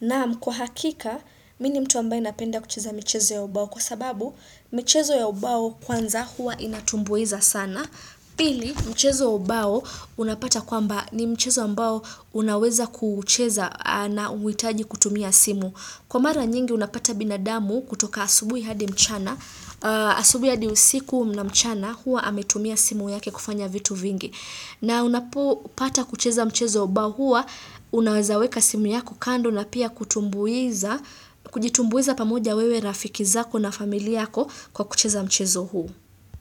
Naam kwa hakika mi ni mtu ambaye napenda kucheza michezo ya ubao kwa sababu michezo ya ubao kwanza hua inatumbuiza sana. Pili, mchezo wa ubao unapata kwamba ni mchezo ambao unaweza kucheza na huhitaji kutumia simu. Kwa mara nyingi unapata binadamu kutoka asubui hadi mchana, asubui hadi usiku na mchana hua ametumia simu yake kufanya vitu vingi. Na unapo pata kucheza mchezo ubao hua, unawezaweka simu yako kando na pia kutumbuiza, kujitumbuiza pamoja wewe na rafiki zako na famili yako kwa kucheza mchezo huu.